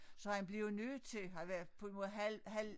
Så han blev jo nødt til at være på en måde halv halv